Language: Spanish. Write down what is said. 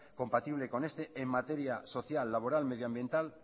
compatible con este en materia social medioambiental